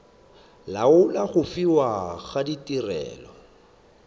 laola go fiwa ga tirelo